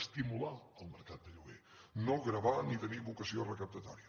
estimular el mercat de lloguer no gravar ni tenir vocació recaptatòria